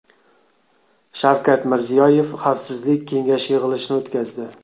Shavkat Mirziyoyev Xavfsizlik kengashi yig‘ilishini o‘tkazdi.